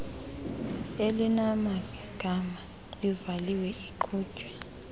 elinamagama ivaliwe iqhutywe